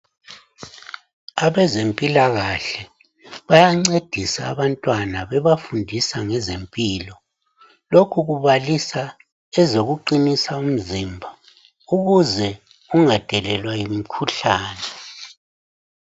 Abezempilakahle bayancedisa abantwana bebafundisa ngezempilo. Lokhu kubalisa ezokuqinisa umzimba ukuze ungadelelwa yimikhuhlane.